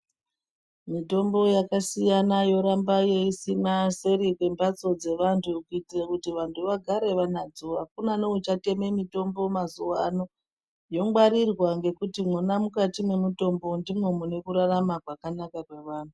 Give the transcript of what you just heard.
Mitombo yakasiyana yoramba yesimwa seri kwembatso dzevantu kuitira kuti vantu vagare vanadzo akuna neuchatenga mitombo mazuwa ano ,yongwarirwa ngekuti mwona mukati mwemutombo ndimwo mune kurarama kwakanaka kweantu